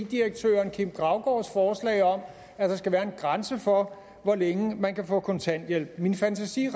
direktøren kim graugaards forslag om at der skal være en grænse for hvor længe man kan få kontanthjælp min fantasi